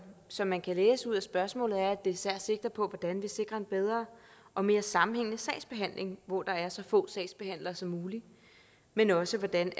som man kan læse ud af spørgsmålet er at det især sigter på hvordan vi sikrer en bedre og mere sammenhængende sagsbehandling hvor der er så få sagsbehandlere som muligt men også hvordan